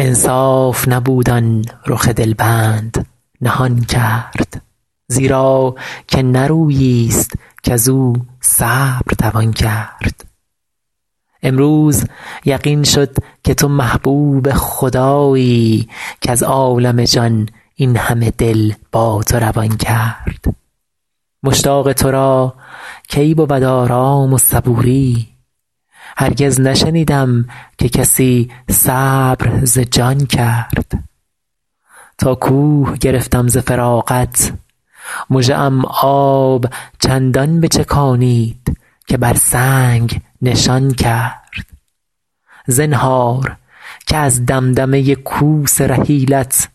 انصاف نبود آن رخ دل بند نهان کرد زیرا که نه رویی ست کز او صبر توان کرد امروز یقین شد که تو محبوب خدایی کز عالم جان این همه دل با تو روان کرد مشتاق تو را کی بود آرام و صبوری هرگز نشنیدم که کسی صبر ز جان کرد تا کوه گرفتم ز فراقت مژه ام آب چندان بچکانید که بر سنگ نشان کرد زنهار که از دمدمه کوس رحیلت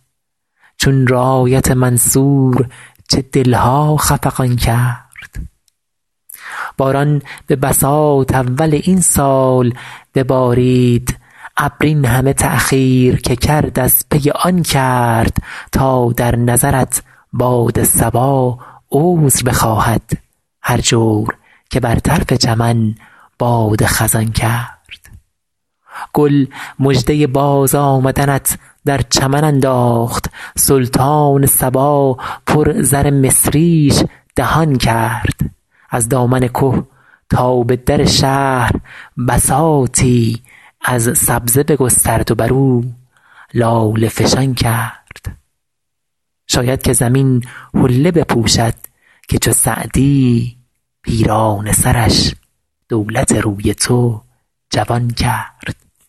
چون رایت منصور چه دل ها خفقان کرد باران به بساط اول این سال ببارید ابر این همه تأخیر که کرد از پی آن کرد تا در نظرت باد صبا عذر بخواهد هر جور که بر طرف چمن باد خزان کرد گل مژده بازآمدنت در چمن انداخت سلطان صبا پر زر مصریش دهان کرد از دامن که تا به در شهر بساطی از سبزه بگسترد و بر او لاله فشان کرد شاید که زمین حله بپوشد که چو سعدی پیرانه سرش دولت روی تو جوان کرد